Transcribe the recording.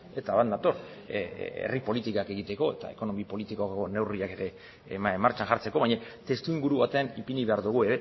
eta bat nator herri politikak egiteko eta ekonomi politiko neurriak martxan jartzeko baina testuinguru baten ipini behar dugu